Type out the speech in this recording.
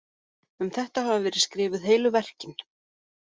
Um þetta hafa verið skrifuð heilu verkin.